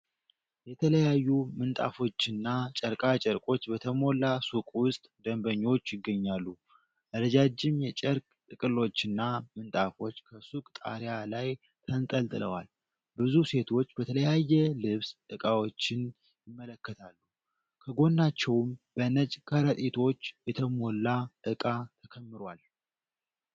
የተለያዩ ምንጣፎችና ጨርቃ ጨርቆች በተሞላ ሱቅ ውስጥ ደንበኞች ይገኛሉ። ረጃጅም የጨርቅ ጥቅሎችና ምንጣፎች ከሱቁ ጣሪያ ላይ ተንጠልጥለዋል። ብዙ ሴቶች በተለያየ ልብስ ዕቃዎችን ይመለከታሉ፤ ከጎናቸውም በነጭ ከረጢቶች የተሞላ ዕቃ ተከምሯል።